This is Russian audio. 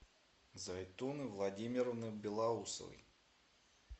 зайтуны владимировны белоусовой